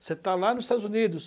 Você está lá nos Estados Unidos.